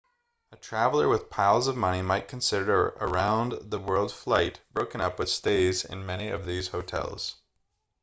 a traveller with piles of money might consider a round the world flight broken up with stays in many of these hotels